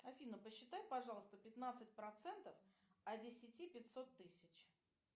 афина посчитай пожалуйста пятнадцать процентов от десяти пятьсот тысяч